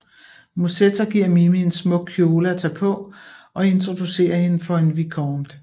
Musetta giver Mimi en smuk kjole at tage på og introducerer hende for en vicomte